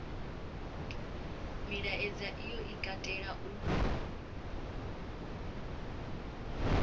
milaedza iyo i katela u